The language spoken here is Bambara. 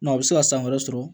a bɛ se ka san wɛrɛ sɔrɔ